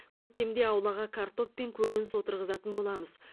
көктемде аулаға картоп пен көкөніс отырғызатын боламыз